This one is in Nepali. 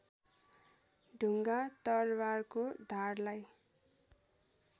ढुङ्गा तरबारको धारलाई